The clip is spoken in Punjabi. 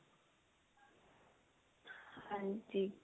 ਹਾਂਜੀ